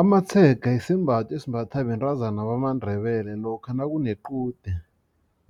Amatshega sisembatho esimbathwa bentazana bamandebele lokha nakunequde